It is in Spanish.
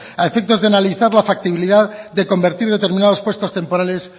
a efectos de analizar la factibilidad de convertir determinados puestos temporales